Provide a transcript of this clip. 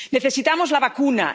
Necesitamos la vacuna.